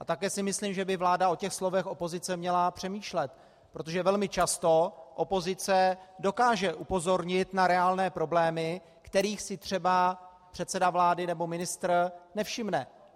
A také si myslím, že by vláda o těch slovech opozice měla přemýšlet, protože velmi často opozice dokáže upozornit na reálné problémy, kterých si třeba předseda vlády nebo ministr nevšimne.